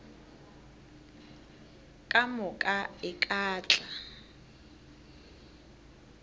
ka moka e ka tla